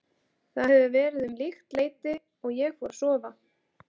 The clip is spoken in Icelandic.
Það hefur verið um líkt leyti og ég fór að sofa.